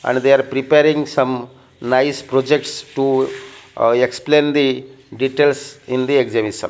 and they are preparing some nice projects to explain the details in the exhibition.